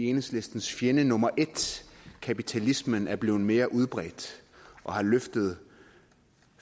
enhedslistens fjende nummer et kapitalismen er blevet mere udbredt og har løftet